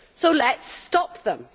So let us stop them.